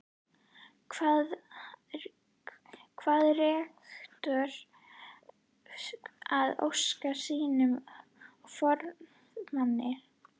Kvað rektor það ósk sína og forráðamanna